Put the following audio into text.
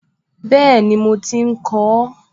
Bẹ́ẹ̀ni, mo ti ń kọ ọ́